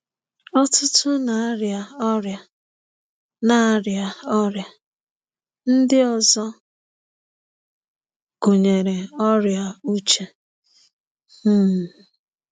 Ọtụtụ na-aria Ọrịa na-aria Ọrịa ndị ọzọ, gụnyere ọrịa uche. um